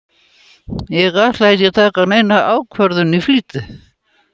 Ég ætla ekki að taka neina ákvörðun í flýti.